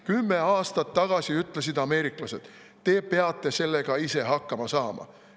Kümme aastat tagasi ütlesid ameeriklased: "Te peate sellega ise hakkama saama.